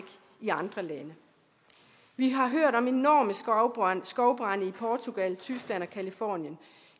i andre lande vi har hørt om enorme skovbrande skovbrande i portugal tyskland og californien